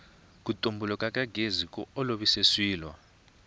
ku tumbuluka ka gezi ku olovise swilo